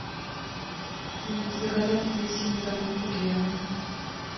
заказать апельсины домой курьером